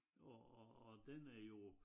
Og og og den er jo